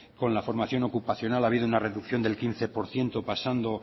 con la formación ocupacional ha habido una reducción del quince por ciento pasando